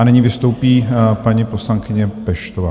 A nyní vystoupí paní poslankyně Peštová.